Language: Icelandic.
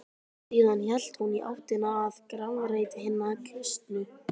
Síðan hélt hún í áttina að grafreit hinna kristnu.